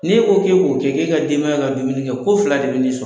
N'e ko k'e k'o kɛ k'e ka denbaya ka dumuni kɛ, ko fila de bɛn'i sɔ